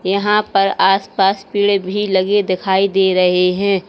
यहां पर आसपास पेड़ भी लगे दिखाई दे रहे हैं।